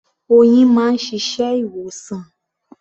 Oyin máa ń ṣiṣẹ́ ìwòsàn.